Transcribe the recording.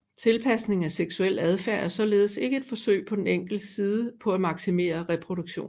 Tilpasning af seksuel adfærd er således ikke et forsøg fra den enkeltes side på at maksimere reproduktion